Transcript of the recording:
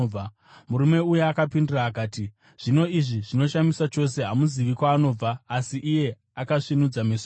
Murume uya akapindura akati, “Zvino, izvi zvinoshamisa chose! Hamuzivi kwaanobva, asi iye akasvinudza meso angu.